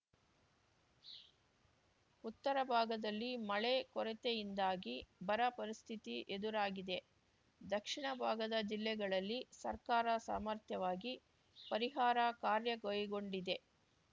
ಉತ್ತರ ಭಾಗದಲ್ಲಿ ಮಳೆ ಕೊರತೆಯಿಂದಾಗಿ ಬರ ಪರಿಸ್ಥಿತಿ ಎದುರಾಗಿದೆ ದಕ್ಷಿಣ ಭಾಗದ ಜಿಲ್ಲೆಗಳಲ್ಲಿ ಸರ್ಕಾರ ಸಮರ್ಥ್ಯವಾಗಿ ಪರಿಹಾರ ಕಾರ್ಯ ಕೈಗೊಂಡಿದೆ